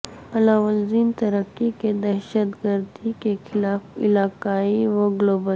علاوہ ازیں ترکی کے دہشت گردی کے خلاف علاقائی و گلوبل